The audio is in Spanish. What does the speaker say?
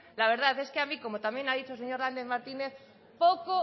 la verdad es que a mí como también ha dicho el señor lander martínez